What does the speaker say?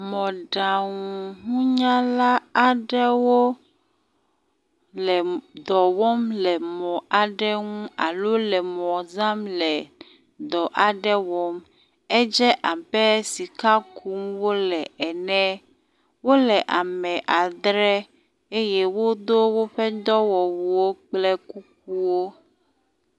Mɔɖaŋununyala aɖewo le dɔ wɔm le mɔ aɖe ŋu alo le mɔ zãm le dɔ aɖe wɔm. Edze abe sika kum wo le enu. Wo le ame adre eye wodo woƒe dɔwɔwuwo kple kukuwo.